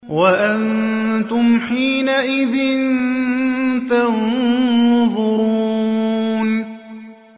وَأَنتُمْ حِينَئِذٍ تَنظُرُونَ